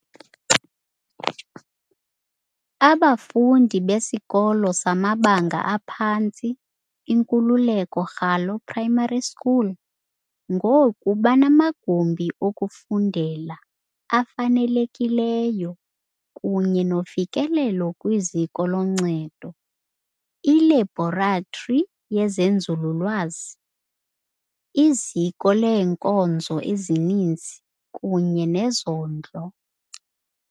Abafundi beSikolo samaBanga aphantsi iNkululeko Ralo Primary School ngoku banamagumbi okufundela afanelekileyo kunye nofikelelo kwiziko loncedo, ilebhoratri yezenzululwazi, iziko leenkonzo ezininzi kunye nezondlo.